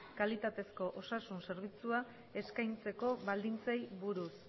kalitatezko osasun zerbitzua eskaintzeko baldintzei buruz